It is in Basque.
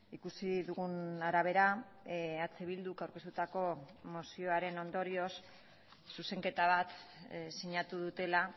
ikusi dugun arabera eh bilduk aurkeztutako mozioaren ondorioz zuzenketa bat sinatu dutela